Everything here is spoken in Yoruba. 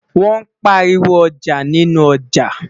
wón pariwo ọjà nínú ọja